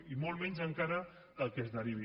i molt menys encara del que se’n derivi